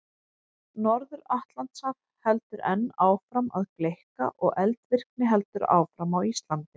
Norður-Atlantshaf heldur enn áfram að gleikka og eldvirkni heldur áfram á Íslandi.